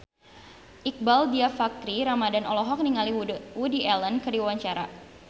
Iqbaal Dhiafakhri Ramadhan olohok ningali Woody Allen keur diwawancara